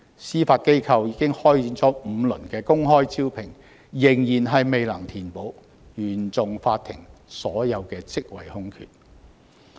司法機構已開展5輪公開招聘，但仍未能填補原訟法庭所有職位空缺。